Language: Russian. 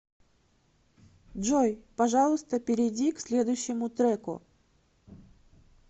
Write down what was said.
джой пожалуйста перейди к следующему треку